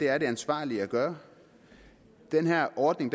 er det ansvarlige at gøre den her ordning